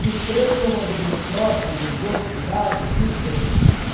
E os três são mais ou menos próximos, um dos outros, de idade, assim, foi?